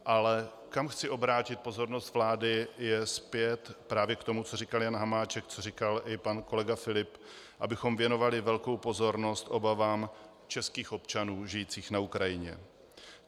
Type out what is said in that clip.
Ale kam chci obrátit pozornost vlády, je zpět právě k tomu, co říkal Jan Hamáček, co říkal i pan kolega Filip, abychom věnovali velkou pozornost obavám českých občanů žijících na Ukrajině.